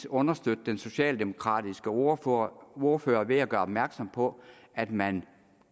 understøtte den socialdemokratiske ordfører ordfører ved at gøre opmærksom på at man